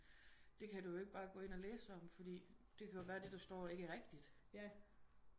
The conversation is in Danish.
Det kan du jo ikke bare gå ind og læse om fordi det kan være det der står ikke er rigtigt